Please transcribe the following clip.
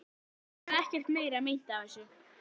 Mér varð ekkert meira meint af þessu.